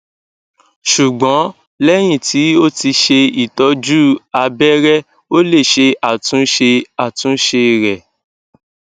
ṣugbọn lẹhin ti o ti ṣe itọju abẹrẹ o le ṣe atunṣe atunṣe rẹ